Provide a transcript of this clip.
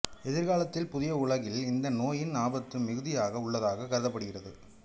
எதிர்காலத்தில் புதிய உலகில் இந்த நோயின் ஆபத்து மிகுதியாக உள்ளதாக கருதப்படுகிறது